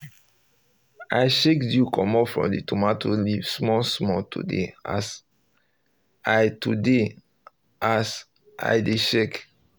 i shake dew comot from the tomato leave small small today as i today as i dey check